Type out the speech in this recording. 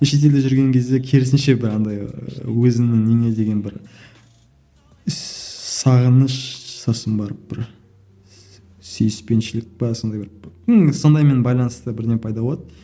шетелде жүрген кезде керісінше бір андай өзіңнің неңе деген бір сағыныш сосын барып бір сүйіспеншілік пе сондай бір ну сондаймен байланысты бірдеңе пайда болады